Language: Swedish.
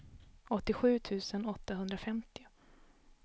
åttiosju tusen åttahundrafemtio